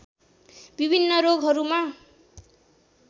विभिन्न रोगहरूमा